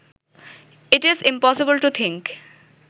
it is impossible to think